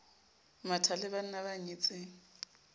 matha le banna ba nyetseng